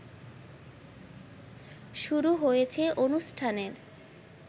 শুরু হয়েছে অনুষ্ঠানের